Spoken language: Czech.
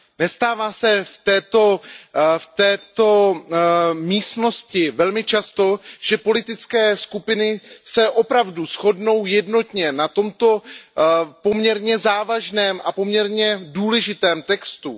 Nestává se v této místnosti velmi často, že politické skupiny se opravdu shodnou jednotně na tomto poměrně závažném a poměrně důležitém textu.